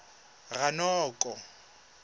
ranoko